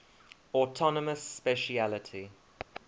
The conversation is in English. autonomous specialty